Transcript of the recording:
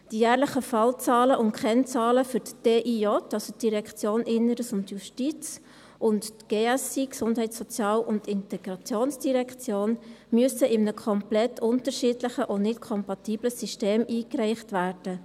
Die jährlichen Fallzahlen und Kennzahlen für die DIJ und GSI müssen in einem komplett unterschiedlichen und nicht kompatiblen System eingereicht werden.